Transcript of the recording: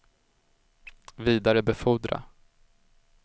vidarebefordra